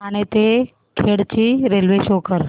ठाणे ते खेड ची railway show करा